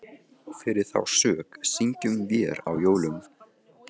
Og fyrir þá sök syngjum vér á jólum